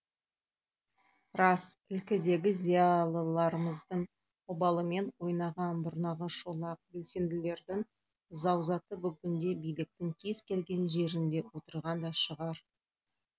рас ілкідегі зиялыларымыздың обалымен ойнаған бұрнағы шолақ белсенділердің заузаты бүгінде биліктің кез келген жерінде отырған да шығар